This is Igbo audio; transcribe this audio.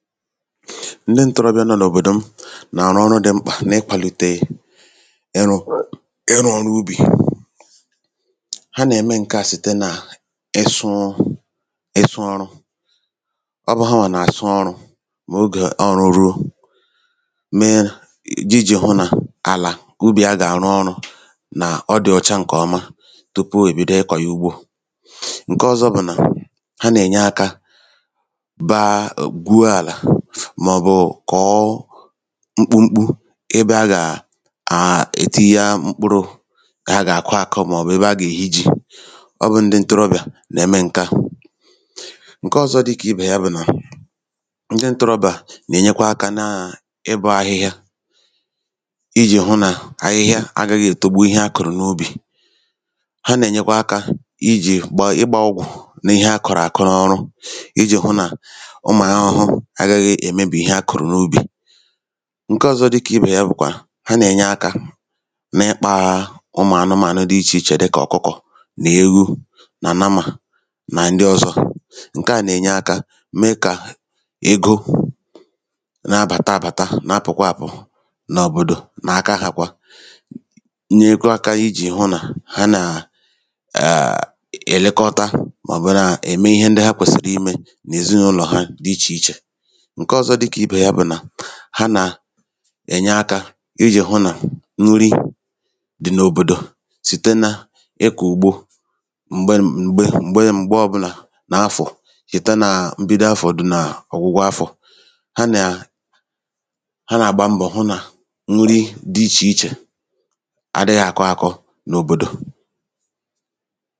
Ọrụ ndị ǹtorobịà nàrụ n’ikwàdò ọrụ ubì n’òbòdò m gùnyèrè ịsụ̄ ọrụ, hanwà nà-àsụ ọrụ̄ ebe a gàrụ ọrụ ubì hanwà gàsụ àlà ebe a gàrụ ọrụ ubì ǹkọ̀ọma, hanwàkwà nàà àbaàlà mọ̀bụ kọ̀ọ àlà ebe à gàkụ mkpụrụ osisi bụ̀ mkpụrụ̄ ihu ubì, hanwà nènyekwa akā hụ nà àlà ubì dị̀ ọ̀cha site nà ịbịā ịbọ̄ ahịhịa m̀gbọ ọbụlà àlà ahụ̀ mọ̀bụ̀ ọrụ ahụ̄ rùrù ahịhịa Otu ọ̀zọkwa ndịị ǹtorobịā jì ètinye akā ikwàdò ọrụ ubì n’òbòdò m bụ̀ site nà itīnyē aka mọ̀bụ̀ ịkpāā ụmụ̀ anụmānụ̀ dịkà ọ̀kụkọ̀, ezì ewu, atụrụ̄, nà ihe ndị ọ̀zọ dị ichè ichè. M̀gbè ha nàkpa ihe anụmānụ̀ ndị à ǹsị hā ha nyụ̄pụ̀tàrà ha nèji yā gaa n’ubì tinyekwa ijī nyee akā hụ nà àlà ubì nwèrè ezigbo akụrụngwā genyere yā aka kò o mee ǹkọ̀ọma. Ihe ọ̀zọkwa ha nàà, ndị òkorobịā nème ijī hụ nàà akwàdòrò ọrụ ubì ǹkọ̀ọma n’ogbè m bụ̀ nà a nà-àchụ ntā ijī hụ nà anụ a gà-àta ata dị̀ ya. Ha nènyekwa akā ịkwàlìtè ịkpātā egō n’ihì nà ihu ubì ndị ahụ̀ ha kọ̄pụ̀tàrà, ha nèbu yā gaa ahịā ree hā mà nwetaa egō ha gèji wère gbòo mkpà ndị ha nwèrè.